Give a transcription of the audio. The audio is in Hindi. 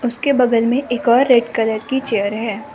उसके बगल मे एक और रेड कलर की चेयर है।